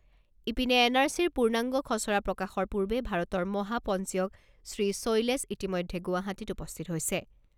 ইপিনে, N R চিৰ পূৰ্ণাংগ খছৰা প্ৰকাশৰ পূৰ্বে ভাৰতৰ মহাপঞ্জীয়ক শ্ৰীশৈলেশ ইতিমধ্যে গুৱাহাটীত উপস্থিত হৈছে।